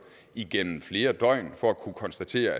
igennem flere døgn for at kunne konstatere